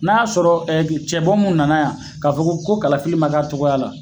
N'a y'a sɔrɔ cɛ bɔ mun nana yan ka fɔ ko kalafili ma ka cogoya la